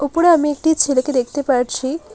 উপরে আমি একটি ছেলেকে দেখতে পারছি।